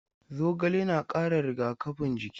Zogale na ƙara rigakafin jiki.